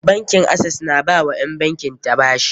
Bankin Access na ba wa ƴan bankin ta bashi.